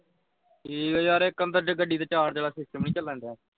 ਠੀਕ ਆ ਯਾਰ ਇਕ ਗੱਡੀ ਦੇ charge ਆਲਾ system ਨਹੀਂ ਚੱਲਣ ਦਿਆ।